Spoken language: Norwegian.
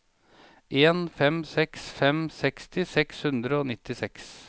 en fem seks fem seksti seks hundre og nittiseks